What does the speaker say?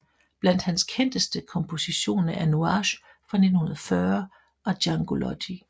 Blandt hans kendteste kompositioner er Nuages fra 1940 og Djangology